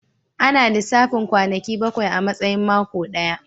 Seven days are counted as one week